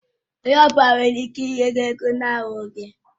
Onye ọ bụla nwere ike ịnye gi ego na ahụghị gi